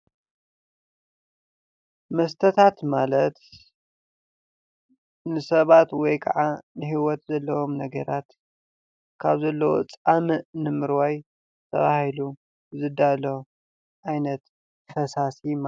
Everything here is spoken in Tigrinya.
መስተታት ማለት ንሰባት ወይኸዓ ንሂወት ዘለዎም ነገራት ኻብ ዘለዎም ፃሞእ ንሞርዋይ ተባሂሉ ዝዳሎ ዓይነት ፈሳሲ ማለት እዪ።